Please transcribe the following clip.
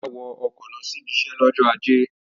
Ọlá wọ ọkọ̀ lọ sí ibiṣẹ́ lọ́jọ́ ajé.